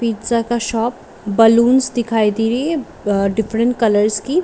pizza का shop balloon दिखाई दे रही है डिफरेंट कलर्स की--